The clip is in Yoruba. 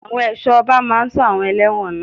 Àwọn ẹ̀ṣọ́ ọba máa sọ àwọn elẹ́wọ̀n náà.